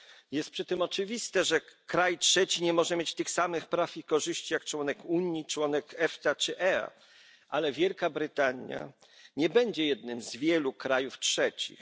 Jest przy tym oczywiste, że kraj trzeci nie może mieć tych samych praw i korzyści co członek Unii, członek EFTA czy członek EEA, ale Wielka Brytania nie będzie jednym z wielu krajów trzecich.